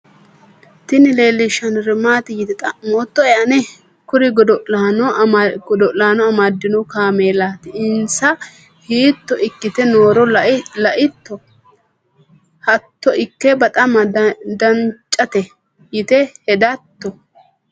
tini leellishshannori maati yite xa'moottoe ane ? kuri godo'laano amadino kaameelati insa hiitto ikkite nooro la'itto? hatto ikke baxama dancate yite hedatto?